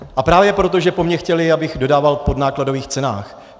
A právě proto, že po mně chtěli, abych dodával v podnákladových cenách.